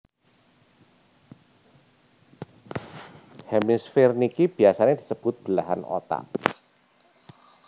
Hemisfer niki biasane disebut belahan otak